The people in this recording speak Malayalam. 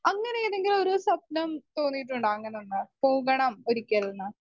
സ്പീക്കർ 1 അങ്ങനെ ഏതെങ്കിലും ഒരു സ്വപ്നം തോന്നിയിട്ടുണ്ടോ അങ്ങനൊന്ന് പോകണം ഒരിക്കൽന്ന്?